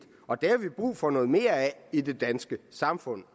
og det har vi brug for noget mere af i det danske samfund